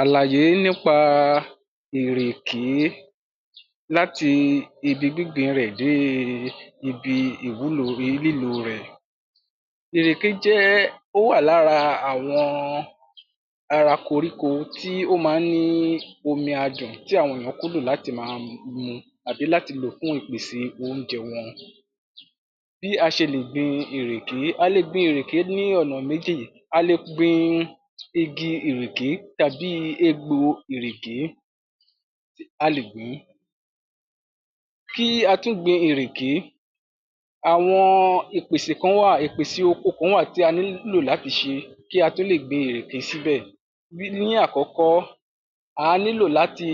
Àlàyé nípa ìrèké láti ibi gbígbìn in rẹ̀ dé e ibi ìwúlo lílò o rẹ̀. Ìrèké jẹ́ ó wà l'ára àwọn ara koríko tí ó ma ń ní omi adùn tí àwọn èyán kúndùn láti ma mu tàbí láti lò fún ipèse Ónjẹ wọn. Bí a ṣe lè gbin ìrèké; A le gbin ìrèké ní ọ̀nà méjì,a le gbin igi ìrèké tàbí i egbò o ìrèké a lè gbìn-ín kí a tó gbin ìrèké, àwọn ipèsè kán wà ìpèsè oko kán wà tí a nílò láti ṣe kí a tó lè gbin ìrèké s'íbẹ̀. Ní àkọ́kọ́, àá nílò láti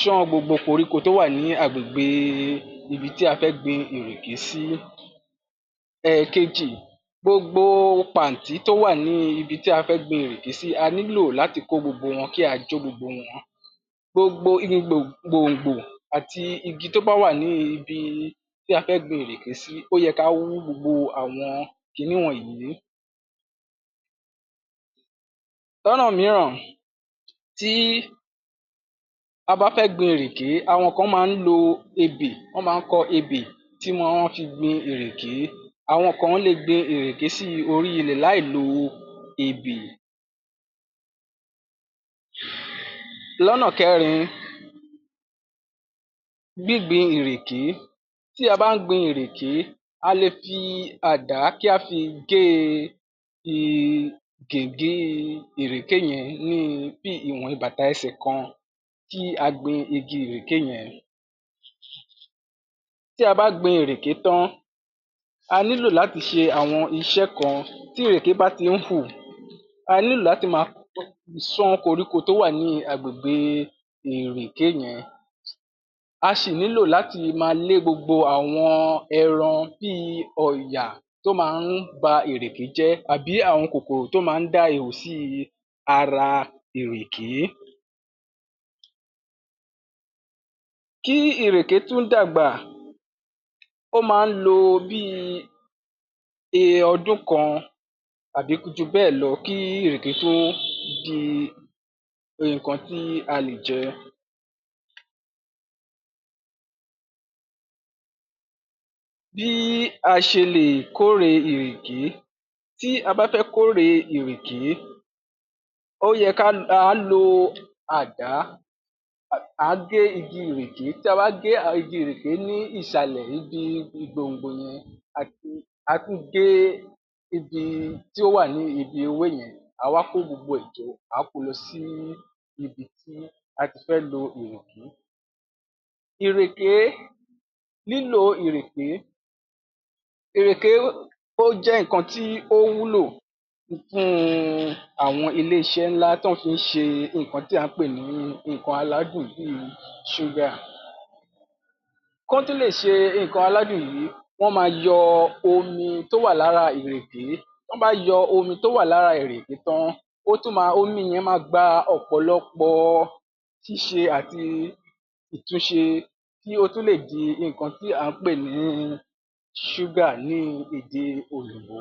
ṣán gbogbo koríko tó wà ní àgbègbe ibi tí a fẹ́ gbin ìrèké sí. Ẹ̀keji, gbogbo pàntí tó wà ní ibi tí a fẹ́ gbin ìrèké sí a nílò láti kó gbogbo wọn kí a jó gbogbo wọn, gbogbo gbò gbòngbò àti igi tó bá wà ní ibi tí a fẹ́ gbin ìrèké sí ó yẹ ká wú gbogbo àwọn kiní wọ̀nyìí, lọ́nà míràn tí a bá fẹ́ gbin ìrèké awọn kán máa ń lo ebè wọn ma ń kọ ebè tí wọ́n-ọ́n fi gbin ìrèké, àwọn kan-án le gbin ìrèké sí orí i ilẹ̀ láì lo ebè. L'ọ́nà kẹrin, gbígbin ìrèké tí a bá ń gbin ìrèké,a le fi àdá kí á fi gé e gìgí i ìrèké yẹn bí ìwọ̀n ibàta ẹsẹ̀ kan kí a gbin igi ìrèké yẹn. Tí a bá gbin ìrèké tán a nílò láti ṣe àwọn iṣẹ́ kan tí ìrèké bá ti rí hù a nílò láti ma ṣán koríko tó wà ní àgbègbe ìrèké yẹn,a ṣì nílò láti ma lé gbogbo àwọn ẹran bíi ọ̀yà tó ma ń ba ìrèké jẹ́ tàbí àwọn kòkòrò tó ma ń dá ihò sí i ara ìrèké kí ìrèké tún d'àgbà ó ma ń lo bíi e ọdún kan tàbí ju bẹ́ẹ̀ lọ kí ìrèké tó di iǹkan tí a lè jẹ. Bí a ṣe lè kóre ìrèké; Tí a bá fẹ́ kóre ìrèké ó yẹ ká lo àdá [a] àá gé igi ìrèké tí a bá gé igi ìrèké ní ìṣàlẹ̀ ibi gbòǹgbò yẹn àti ka tún gé igi tí ó wà ní ibi ewé yẹn àá wá kó gbogbo ẹ̀ jọ àá ko lọ sí ibi tí a ti fẹ́ lo ìrèké. Ìrèké, lílò o ìrèké; Èrèké ó jẹ́ ǹkan tí ó wúlò fún un àwọn ilé iṣẹ́ ńlá tọ́n fi ń ṣe ǹkan tí à ń pè ní ǹkan aládùn bíi ṣúgà. Kọ́n tó lè ṣe ǹkan aládùn yìí wọ́n ma yọ omi tó wà l'ára ìrèké, tọ́n ba yọ omi tó wà l'ára ìrèké tán ó tún ma omi yẹn ma gba ọ̀pọ̀lọpọ̀ ọ ṣíṣe àti ìtúnṣe kí ó tún lè di ǹkan tí à ń pè ní ṣúgà ní ède òyìnbó.